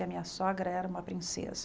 E a minha sogra era uma princesa.